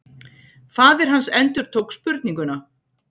Faðir hans endurtók spurninguna.